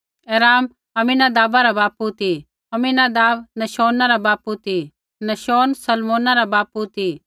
एराम अम्मीनादाबा रा बापू ती अम्मीनादाब नहशोना रा बापू ती नहशोन सलमोना रा बापू ती